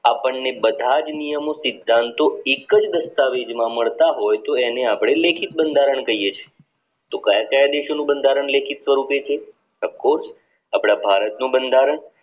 અપદને બધા જ નિયમો સિદ્ધાંતો એક જ દસ્તાવેજમાં માલ્ટા હોય તો એને અપને લેખિત બંધારણ કહીયે છીએ તો કાયા કાયા દેશો નું બંધારણ લેખિત સ્વરૂપે છે તો ખુદ આપડા ભારત નું બંધારણ